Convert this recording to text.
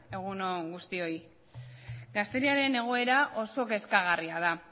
egun on guztioi gazteriaren egoera oso kezkagarria da